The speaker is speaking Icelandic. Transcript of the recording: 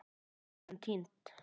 Sagan týnd.